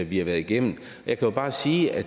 vi har været igennem jeg kan bare sige at